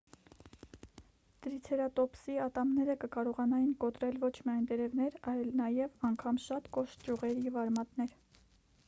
տրիցերատոպսի ատամները կկարողանային կոտրել ոչ միայն տերևներ այլ նաև անգամ շատ կոշտ ճյուղեր և արմատներ